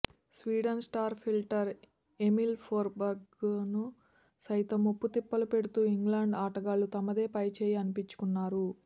Sweden star fielder Emil ఫోర్స్బెర్గ్ను సైతం ముప్పుతిప్పలు పెడుతూ ఇంగ్లాండ్ ఆటగాళ్లు తమదే పైచేయి అనిపించుకున్నారు